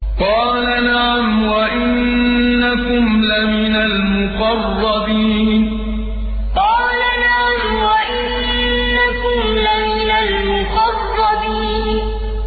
قَالَ نَعَمْ وَإِنَّكُمْ لَمِنَ الْمُقَرَّبِينَ قَالَ نَعَمْ وَإِنَّكُمْ لَمِنَ الْمُقَرَّبِينَ